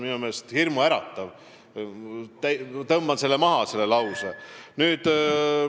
See on minu meelest hirmuäratav ja ma tõmban selle lause maha.